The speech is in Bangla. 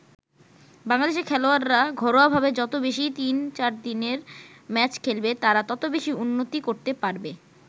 বাংলাদেশের খেলোয়াড়রা ঘরোয়া ভাবে যত বেশি তিন-চারদিনের ম্যাচ খেলবে তারা তত বেশি উন্নতি করতে পারবে।